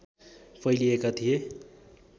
फैलिएका थिए